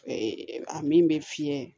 a min bɛ fiyɛ